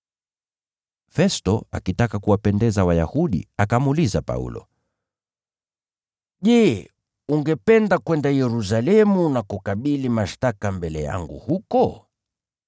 Festo, akitaka kuwapendeza Wayahudi, akamuuliza Paulo, “Je, ungependa kwenda Yerusalemu na kukabili mashtaka mbele yangu huko?”